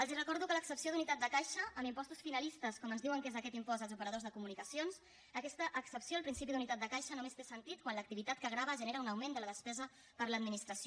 els recordo que l’excepció d’unitat de caixa en impostos finalistes com ens diuen que és aquest impost als operadors de comunicacions aquesta excepció al principi d’unitat de caixa només té sentit quan l’activitat que grava genera un augment de la despesa per l’administració